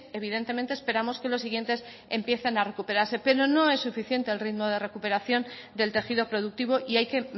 evidentemente esperamos que los siguientes empiecen a recuperarse pero no es suficiente el ritmo de recuperación del tejido productivo y hay que